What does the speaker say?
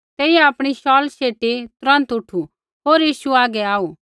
तेइयै आपणी शौल शेटी तुरन्त उठु होर यीशु हागै आऊ